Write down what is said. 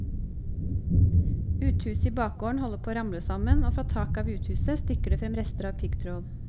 Uthuset i bakgården holder på å ramle sammen, og fra taket av uthuset stikker det frem rester av piggtråd.